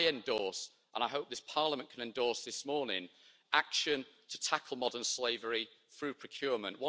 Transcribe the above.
So I endorse and I hope this Parliament can endorse this morning action to tackle modern slavery through procurement.